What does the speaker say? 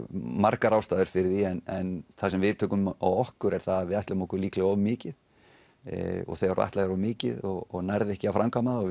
margar ástæður fyrir því en það sem við tökum á okkur er það að við ætluðum okkur líklega of mikið og þegar þú ætlar þér of mikið og nærð ekki að framkvæma það og